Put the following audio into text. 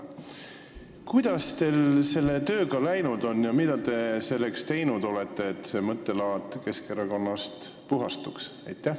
Kuidas teil selle tööga läinud on ja mida te olete teinud selleks, et Keskerakond sellest mõttelaadist puhastuks?